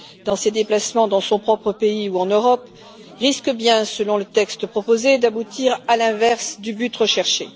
dans ses déplacements dans son propre pays ou en Europe, risque bien, selon le texte proposé, d'aboutir à l'inverse du but recherché.